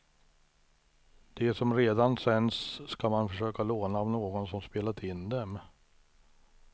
De som redan sänts ska man försöka låna av någon som spelat in dem.